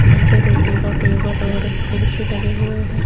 नीचे देखिएगा का टेबल और कुर्सी लगे हुए हैं।